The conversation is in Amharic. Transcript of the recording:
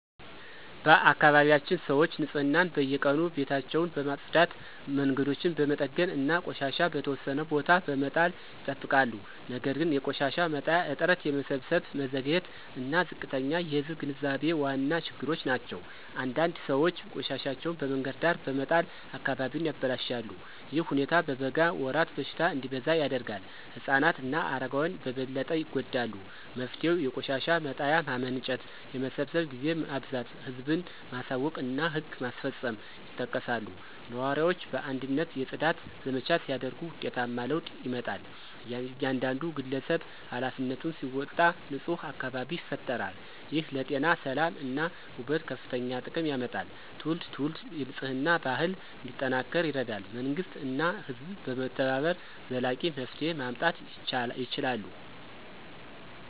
በአካባቢያችን ሰዎች ንፅህናን በየቀኑ ቤታቸውን በማጽዳት መንገዶችን በመጠገን እና ቆሻሻ በተወሰነ ቦታ በመጣል ይጠብቃሉ ነገር ግን የቆሻሻ መጣያ እጥረት የመሰብሰብ መዘግየት እና ዝቅተኛ የህዝብ ግንዛቤ ዋና ችግሮች ናቸው። አንዳንድ ሰዎች ቆሻሻቸውን በመንገድ ዳር በመጣል አካባቢውን ያበላሻሉ። ይህ ሁኔታ በበጋ ወራት በሽታ እንዲበዛ ያደርጋል። ህፃናት እና አረጋውያን በበለጠ ይጎዳሉ። መፍትሄው የቆሻሻ መጣያ ማመንጨት የመሰብሰብ ጊዜ ማብዛት ህዝብን ማሳወቅ እና ህግ ማስፈጸም ይጠቀሳሉ። ነዋሪዎች በአንድነት የጽዳት ዘመቻ ሲያደርጉ ውጤታማ ለውጥ ይመጣል። እያንዳንዱ ግለሰብ ኃላፊነቱን ሲወጣ ንፁህ አካባቢ ይፈጠራል። ይህ ለጤና ሰላም እና ውበት ከፍተኛ ጥቅም ያመጣል። ትውልድ ትውልድ የንፅህና ባህል እንዲጠናከር ይረዳል መንግሥት እና ህዝብ በመተባበር ዘላቂ መፍትሄ ማምጣት ይችላሉ።